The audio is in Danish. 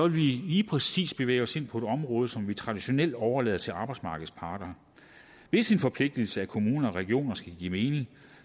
vi lige præcis bevæge os ind på et område som vi traditionelt overlader til arbejdsmarkedets parter hvis en forpligtigelse af kommuner og regioner skal give